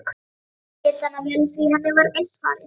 Hún skildi hann vel því henni var eins farið.